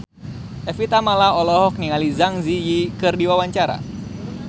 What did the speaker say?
Evie Tamala olohok ningali Zang Zi Yi keur diwawancara